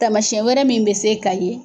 Taamasiyɛn wɛrɛ min bɛ se ka ye